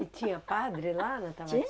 E tinha padre lá na